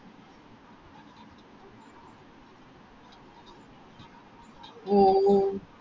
ഓ ഓ